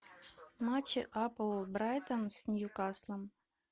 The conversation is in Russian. матч апл брайтон с ньюкаслом